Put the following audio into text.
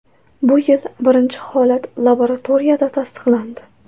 Bu yil birinchi holat laboratoriyada tasdiqlandi.